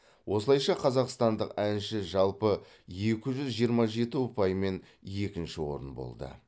осылайша қазақстандық әнші жалпы екі жүз жиырма жеті ұпаймен екінші орын болды